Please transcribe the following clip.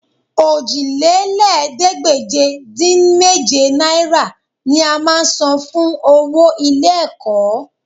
Òjìlélẹ́ẹ̀ẹ́dégbèje-dín-méje náírà ni a máa san fún owó ilé-ẹ̀kọ́